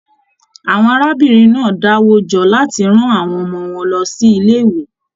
Àwọn arábìnrin náà dá wo jọ láti rán àwọn ọmọ wọn lọ si ilé ìwé.